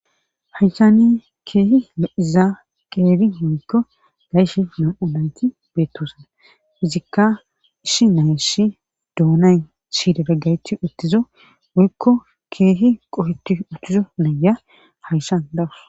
hanshani keehi eizaa qeeri honko gayshi na7olayti beettosan izikka ishi nayshi doonay shiidera gaychi uttizo woyikko keehi qoheti uttizo naya hayshan dawus